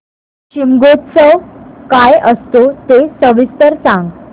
शिमगोत्सव काय असतो ते सविस्तर सांग